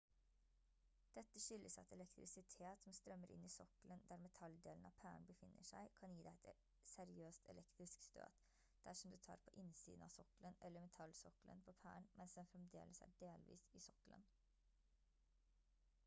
dette skyldes at elektrisitet som strømmer inn i sokkelen der metalldelen av pæren befinner seg kan gi deg et seriøst elektrisk støt dersom du tar på innsiden av sokkelen eller metallsokkelen på pæren mens den fremdeles er delvis i sokkelen